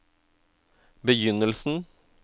begynnelsen